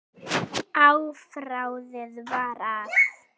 Afráðið var að